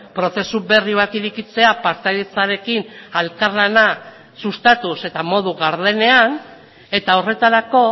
prozesu berri bat irekitzea partaidetzarekin elkarlana sustatuz eta modu gardenean eta horretarako